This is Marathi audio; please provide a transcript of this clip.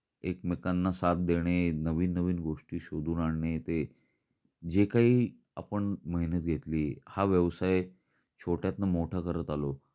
एकमेकांना साथ देणे नवीन नवीन गोष्टी शोधून आणणे ते, जे काही आपण मेहनत घेतली हा व्यवसाय छोटय़ातन मोठा करत आलो.